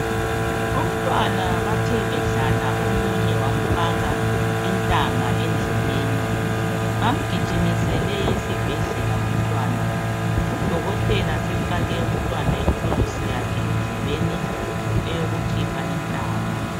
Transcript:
Umntwana bathe bedlala omunye wamfaka intanga endlebeni. Bamgijimisele esibhedlela umntwana udokotela sefake umntwana ithulisi yakhe endlebeni eyokukhipha intanga.